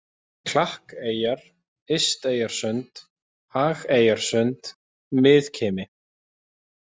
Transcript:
Klakkeyjar, Ysteyjarsund, Hageyjarsund, Miðkimi